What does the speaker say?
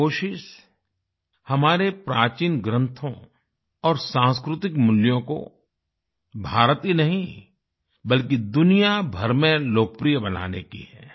ये कोशिश हमारे प्राचीन ग्रंथों और सांस्कृतिक मूल्यों को भारत ही नहीं बल्कि दुनियाभर में लोकप्रिय बनाने की है